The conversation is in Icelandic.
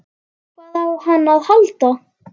Hvað á hann að halda?